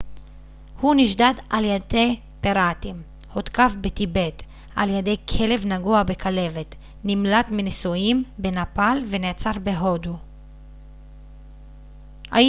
הוא נשדד על ידי פיראטים הותקף בטיבט על ידי כלב נגוע בכלבת נמלט מנישואים בנפאל ונעצר בהודו